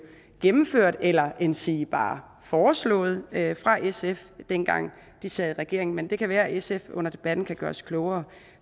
gennemført eller endsige bare foreslået af sf dengang de sad i regering men det kan være at sf under debatten kan gøre os klogere